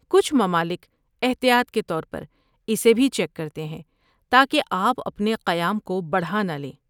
کچھ ممالک احتیاط کے طور پر اسے بھی چیک کرتے ہیں تاکہ آپ اپنے قیام کو بڑھا نہ لیں۔